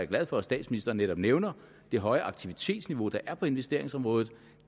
glad for at statsministeren netop nævner det høje aktivitetsniveau der er på investeringsområdet